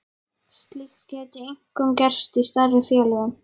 Slíkt gæti einkum gerst í stærri félögum.